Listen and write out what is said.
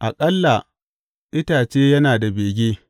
Aƙalla itace yana da bege.